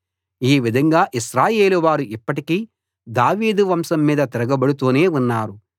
ఈ విధంగా ఇశ్రాయేలువారు ఇప్పటికీ దావీదు వంశం మీద తిరగబడుతూనే ఉన్నారు